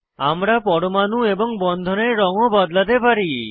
আমরা পরমাণু এবং বন্ধনের রঙ ও বদলাতে পারি